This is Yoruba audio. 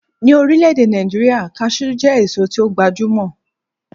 Ní orílẹ̀-èdè Nàìjíríà, Cashew jẹ́ èso tí ó gbajúmọ̀